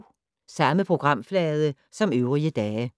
Samme programflade som øvrige dage